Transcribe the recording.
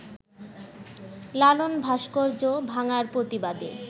লালন ভাস্কর্য ভাঙার প্রতিবাদে